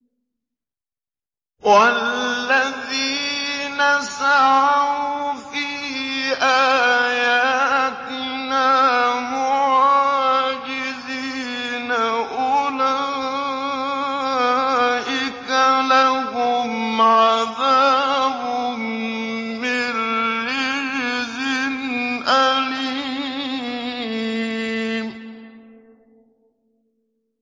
وَالَّذِينَ سَعَوْا فِي آيَاتِنَا مُعَاجِزِينَ أُولَٰئِكَ لَهُمْ عَذَابٌ مِّن رِّجْزٍ أَلِيمٌ